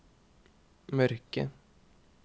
mørke